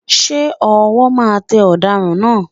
Ṣé ọwọ́ máa tẹ Ọ̀daràn náà?